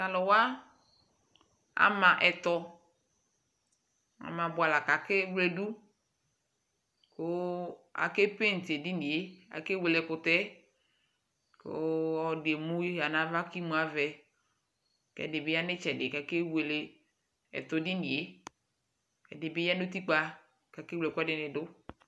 tʊ alʊwa atsi ɛtɔ, , kʊ akewledʊ, kʊ akabua akalo dʊ kʊ edini yɛ, akewele ɛkʊtɛ yɛ, kʊ ɔlɔdɩ emu ya nʊ ava kʊ imu avɛ, kʊ ɛdɩbɩ ya nʊ itsɛdɩ, kʊ akewele ɛtɔ dɩnɩ yɛ, ɛdibɩ ya nʊ utikpǝ, kʊ akewle ɛkʊɛdɩnɩ dʊ